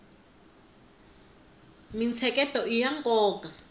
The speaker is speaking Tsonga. mintsheketo iya nkoka